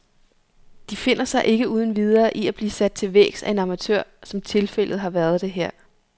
De finder sig ikke uden videre i at blive sat til vægs af en amatør, som tilfældet har været det her.